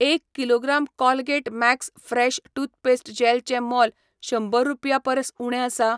एक kilogram Colgate max fresh toothpaste जॅलचें मोल शंबर रुपया परस उणें आसा